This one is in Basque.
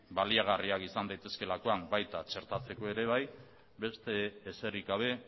izan daitezkeelakoan baita txertatzeko ere bai beste ezerik gabe